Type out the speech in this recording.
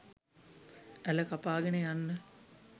ඇළ කපාගෙන යන්න